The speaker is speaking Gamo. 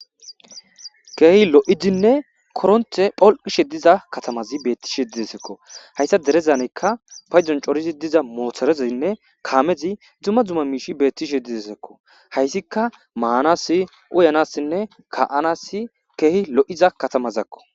Keehi lo'idinne koronte pholqishe diza katamazi betishe didesekko hayssa derezaneykka paydzon corizi diza moothorezinne kaamezi dzumma duma miishi beettishe didesekko hayssika maanasi uyanassinne ka7anasi keehi lo7iza katamazakko